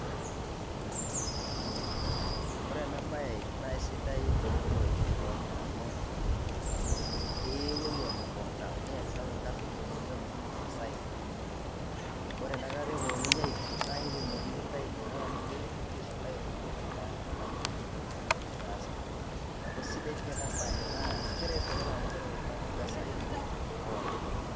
ore ena baye naye sidai to muruaitin pookin amu ee ipuopou emukunda niyasiyasa orkasi linyi nitumutumu masaa inyi, ore enakata eponunui aipim naaye ipimokini intai idolitata tine wuei aisho intae iropiani enaa inkipimot entoki nitaasa. Neeku sidai pii ena baye naa keret iltung'anak amu ketum iltung'anak impesai pookin.